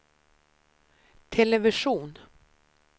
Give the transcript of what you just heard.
television